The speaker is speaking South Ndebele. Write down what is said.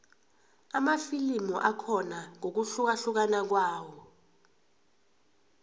amafilimu akhona ngokuhlukahlukana kwawo